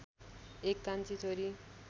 १ कान्छी छोरी